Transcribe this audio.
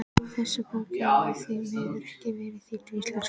Þessi bók hefur því miður ekki verið þýdd á íslensku.